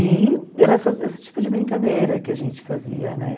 E era essa esse tipo de brincadeira que a gente fazia, né?